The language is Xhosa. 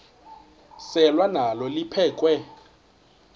selwa nalo liphekhwe